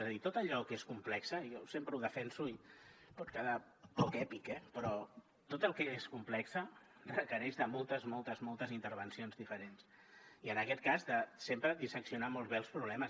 és a dir tot allò que és complex jo sempre ho defenso i pot quedar poc èpic eh però tot el que és complex requereix moltes moltes moltes intervencions diferents i en aquest cas sempre disseccionar molt bé els problemes